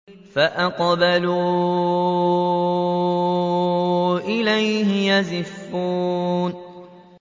فَأَقْبَلُوا إِلَيْهِ يَزِفُّونَ